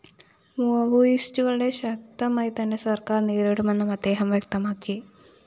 മാവോയിസ്റ്റുകളെ ശക്തമായി തന്നെ സര്‍ക്കാര്‍ നേരിടുമെന്നും അദ്ദേഹം വ്യക്തമാക്കി